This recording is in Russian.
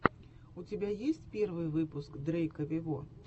у тебя есть первый выпуск дрейка вево